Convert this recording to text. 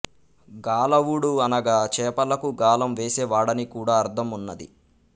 గాలవుడు అనగా చేపలకు గాలము వేసే వాడని కూడ అర్థమున్నది